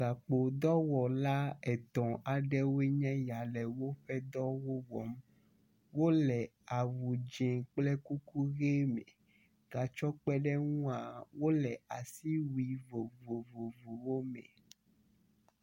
Gakpodɔwɔla etɔ̃ aɖewoe nye ya le woƒe dɔwɔ wɔm. wo le awu dzi kple kuku ʋi me. Gatsɔ kpeɖeŋua wo le asiwui vovovowo me.